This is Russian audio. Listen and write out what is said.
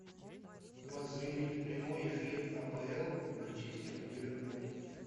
позырить прямой эфир апл манчестер ливерпуль